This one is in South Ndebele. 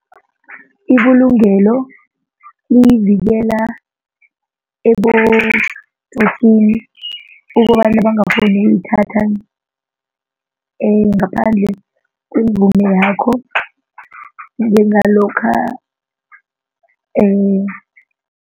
Ibulungelo liyivikela ebotsotsini ukobana bangakghoni ukuyithatha ngaphandle kwemvumo yakho njengalokha